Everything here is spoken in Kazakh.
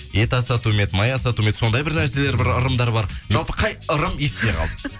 ет асату ма еді май асату ма еді сондай бір нәрселер бір ырымдар бар жалпы қай ырым есте қалды